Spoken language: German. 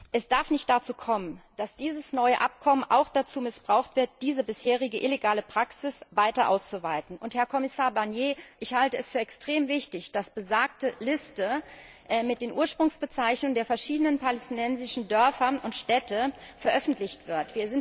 Es darf nicht dazu kommen, dass dieses neue Abkommen auch dazu missbraucht wird, diese bisherige, illegale Praxis weiter auszuweiten. Herr Kommissar Barnier, ich halte es für extrem wichtig, dass besagte Liste mit den Ursprungsbezeichnungen der verschiedenen palästinensischen Dörfer und Städte veröffentlicht wird.